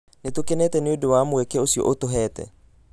Nĩ tũkenete nĩ ũndũ wa mweke ũcio ũtũheete